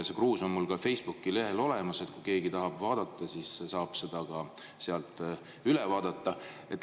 See kruus on mul ka Facebooki lehel olemas, kui keegi tahab vaadata, siis saab seda sealt näha.